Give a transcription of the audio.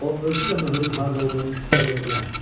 O özü də möhürün harda olduğunu sizə deyə bilər.